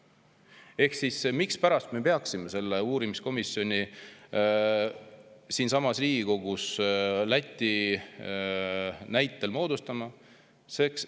Ehk mispärast me peaksime selle uurimiskomisjoni, Läti näitel, siinsamas Riigikogus moodustama?